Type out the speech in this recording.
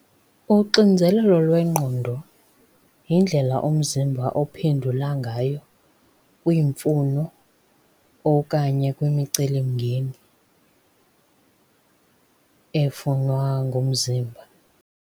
Uxinzelelo lwengqondo yindlela umzimba ophendula ngayo kwiimfuno okanye kwimicelimngeni efunwa ngumzimba.